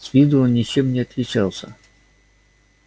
с виду он ничем не отличался